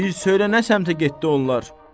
Bir söylə nə səmtə getdi onlar.